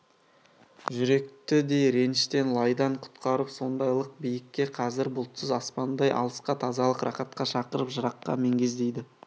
жүректі де реніштен лайдан құтқарып сондайлық биікке қазіргі бұлтсыз аспандай алысқа тазалық рақатқа шақырып жыраққа мегзейді